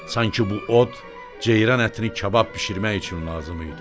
Sanki bu od ceyran ətini kabab bişirmək üçün lazım idi.